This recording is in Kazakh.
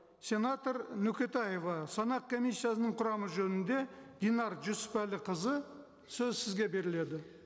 сенатор нөкетаева санақ комиссиясының құрамы жөнінде динар жүсіпәліқызы сөз сізге беріледі